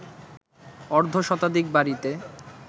অর্ধশতাধিক বাড়িতে